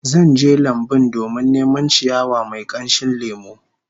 Zan je lambun domin neman ciyawa mai kamshin lemo